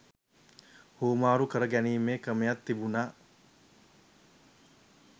හුවමාරු කර ගැනීමේ ක්‍රමයක් තිබුණා